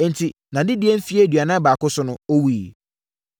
Enti, nʼadedie mfeɛ aduanan baako so no, ɔwuiɛ.